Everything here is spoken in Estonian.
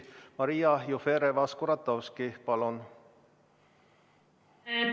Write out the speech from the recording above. Maria Jufereva-Skuratovski, palun!